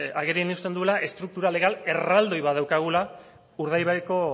agerian uzten duela estruktura legal erraldoi bat daukagula urdaibaiko